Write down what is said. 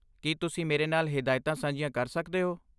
ਕੀ ਤੁਸੀਂ ਮੇਰੇ ਨਾਲ ਹਦਾਇਤਾਂ ਸਾਂਝੀਆਂ ਕਰ ਸਕਦੇ ਹੋ?